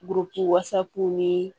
Guruki wasapu ni